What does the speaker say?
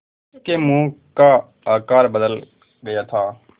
उसके मुँह का आकार बदल गया था